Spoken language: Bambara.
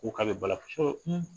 Ko ka ba la